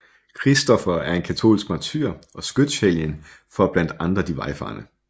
Kristoffer er en katolsk martyr og skytshelgen for blandt andet de vejfarende